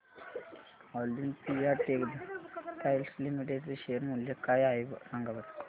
Olympia Textiles Limited चे share मूल्य काय आहे सांगा बरं